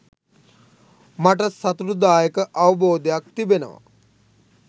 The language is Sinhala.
මට සතුටුදායක අවබෝධයක් තිබෙනවා